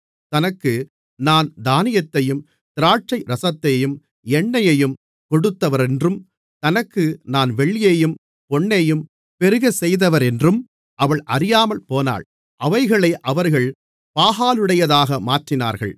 தனக்கு நான் தானியத்தையும் திராட்சைரசத்தையும் எண்ணெயையும் கொடுத்தவரென்றும் தனக்கு நான் வெள்ளியையும் பொன்னையும் பெருகச்செய்தவரென்றும் அவள் அறியாமற்போனாள் அவைகளை அவர்கள் பாகாலுடையதாக மாற்றினார்கள்